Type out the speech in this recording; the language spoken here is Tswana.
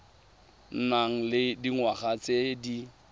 nang le dingwaga tse di